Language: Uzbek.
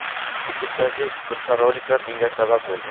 YouTube’dagi turfa roliklar bunga sabab bo‘ldi.